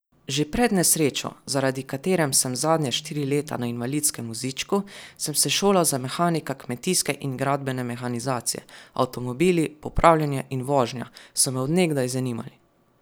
Že pred nesrečo, zaradi katerem sem zadnja štiri leta na invalidskem vozičku, sem se šolal za mehanika kmetijske in gradbene mehanizacije, avtomobili, popravljanje in vožnja, so me od nekdaj zanimali.